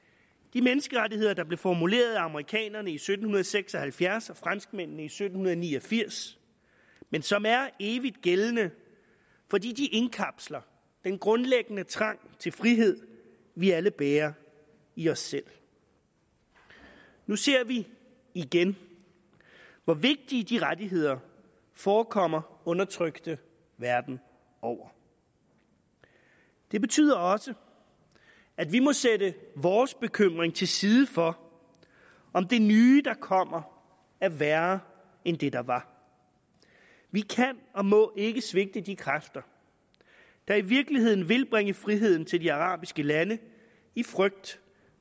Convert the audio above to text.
de menneskerettigheder der blev formuleret af amerikanerne i sytten seks og halvfjerds og franskmændene i sytten ni og firs men som er evigt gældende fordi de indkapsler den grundlæggende trang til frihed vi alle bærer i os selv nu ser vi igen hvor vigtige de rettigheder forekommer undertrykte verden over det betyder også at vi må sætte vores bekymring til side for om det nye der kommer er værre end det der var vi kan og må ikke svigte de kræfter der i virkeligheden vil bringe friheden til de arabiske lande i frygt